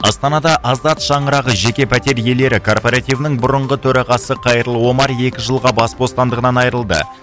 астанада азат шаңырағы жеке пәтер иелері карпоративінің бұрынғы төрағасы қайырлы омар екі жылға бас бостандығынан айрылды